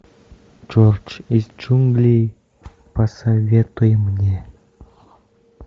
джордж из джунглей посоветуй мне